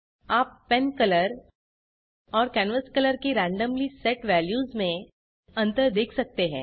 आप pen colour और canvas colour की रैन्डम्ली सेट वेल्यूज में अंतर देख सकते हैं